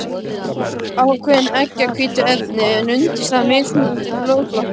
Ákveðin eggjahvítuefni eru undirstaða mismunandi blóðflokka.